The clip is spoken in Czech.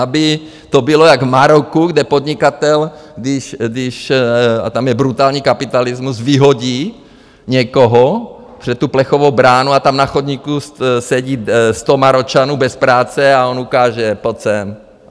Aby to bylo jak v Maroku, kde podnikatel, když - a tam je brutální kapitalismus - vyhodí někoho před tu plechovou bránu a tam na chodníku sedí sto Maročanů bez práce a on ukáže: Pojď sem!